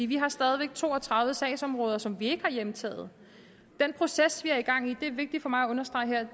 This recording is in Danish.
vi har stadig væk to og tredive sagsområder som vi ikke har hjemtaget den proces vi har gang i og det er vigtigt for mig at understrege